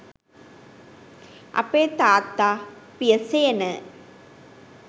අපේ තාත්ත පිය සේන